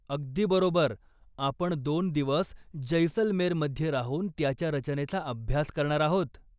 अगदी बरोबर! आपण दोन दिवस जैसलमेरमध्ये राहून त्याच्या रचनेचा अभ्यास करणार आहोत.